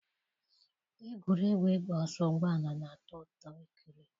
Egwuregwu ịgba ọsọ ụgbọ ala na-atọ ụtọ ikiri.